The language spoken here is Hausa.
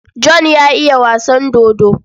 John ya iya wasan dodo.